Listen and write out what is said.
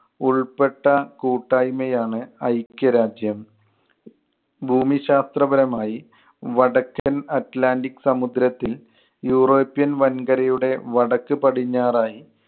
ഉൾപ്പെട്ട കൂട്ടായ്മയാണ് ഐക്യരാജ്യം. ഭൂമിശാസ്ത്രപരമായി വടക്കൻ atlantic സമുദ്രത്തിൽ യൂറോപ്യൻ വൻകരയുടെ വടക്ക് പടിഞ്ഞാറായി